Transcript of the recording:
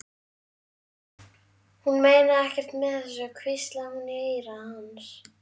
Ég sagði nei, hann mætti vera en ekki hún.